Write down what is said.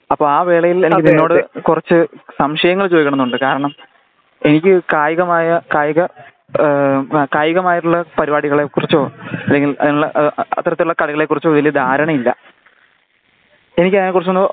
അപ്പോ ആ വേളയില് എനിക്ക് നിന്നോട് കുറച്ച് സംശയങ്ങൾ ചോദിക്കണമെന്നുണ്ട് കാരണം എനിക്ക് കായികമായ കായിക കായികമായിട്ടുള്ള പരിപാടികളെ കുറിച്ചോ അല്ലെങ്കില് അതിനുള്ള അത്തരത്തിലുള്ള കളികളെ കുറിച്ചോ വലിയ ധാരണ ഇല്ല . എന്നിക്കതിനെ കുറിച്ച് ഒന്ന്